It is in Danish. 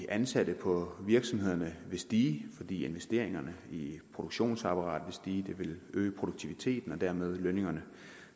ansatte på virksomhederne ville stige fordi investeringerne i produktionsapparatet ville stige det ville øge produktiviteten og dermed lønningerne